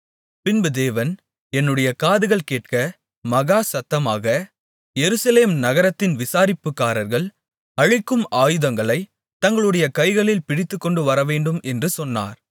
பின்பு தேவன் என்னுடைய காதுகள் கேட்க மகா சத்தமாக எருசலேம் நகரத்தின் விசாரிப்புக்காரர்கள் அழிக்கும் ஆயுதங்களைத் தங்களுடைய கைகளில் பிடித்துக்கொண்டுவரவேண்டும் என்று சொன்னார்